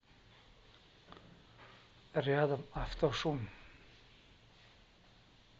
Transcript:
рядом автошум